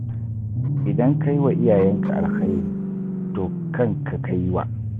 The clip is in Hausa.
Idan ka yi wa iyayenka alkhairi, to kanka ka yi wa